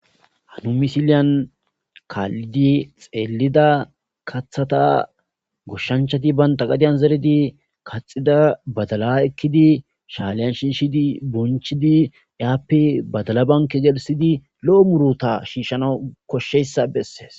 Ha misileya kalidi celida kathata goshanchati banta gadiyan zeridi kathida badala ekidi shalan shishidi bonchidi yape badala banka gelithidi lo'o muruta gelthanaw koshizaysa beses